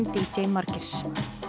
d j Margeirs